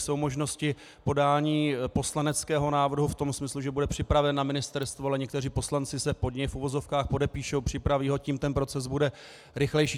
Jsou možnosti podání poslaneckého návrhu v tom smyslu, že bude připraven na ministerstvu, ale někteří poslanci se pod něj v uvozovkách podepíší, připraví ho, tím ten proces bude rychlejší.